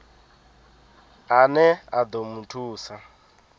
ane a ḓo mu thusa